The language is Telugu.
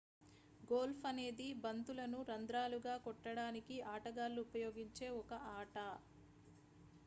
గోల్ఫ్ అనేది బంతులను రంధ్రాలు గా కొట్టడానికి ఆటగాళ్ళు ఉపయోగించే ఒక ఆట